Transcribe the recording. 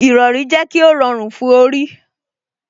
Ìrọrí jẹ́ kó rọrùn fún orí